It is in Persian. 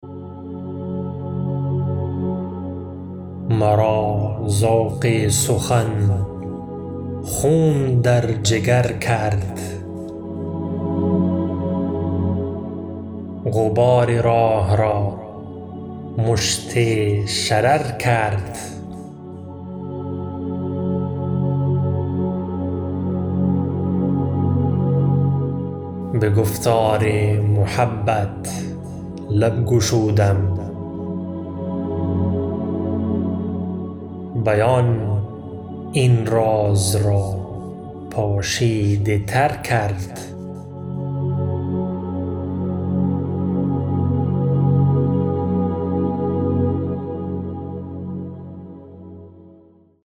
مرا ذوق سخن خون در جگر کرد غبار راه را مشت شرر کرد به گفتار محبت لب گشودم بیان این راز را پوشیده تر کرد